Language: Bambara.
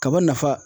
Kaba nafa